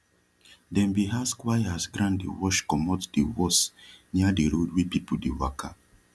dem bin ask why as ground dey wash comot dey worse near de road wy people dey waka